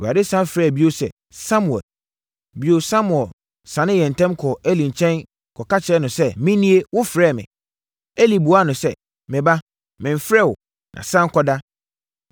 Awurade sane frɛɛ bio sɛ, “Samuel!” Bio, Samuel sane yɛɛ ntɛm kɔɔ Eli nkyɛn kɔka kyerɛɛ no sɛ, “Menie! Wofrɛɛ me?” Eli buaa no sɛ, “Me ba, memfrɛɛ wo, na sane kɔda.”